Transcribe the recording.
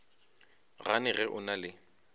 gane ge o na le